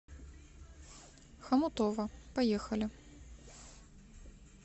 хомутово поехали